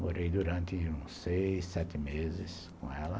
Morei durante seis, sete meses com ela.